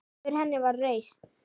Yfir henni var reisn.